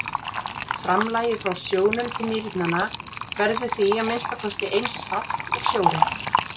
Framlagið frá sjónum til nýrnanna verður því að minnsta kosti eins salt og sjórinn.